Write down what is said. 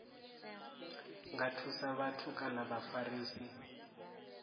nga thusa vhathu kana vhafarisi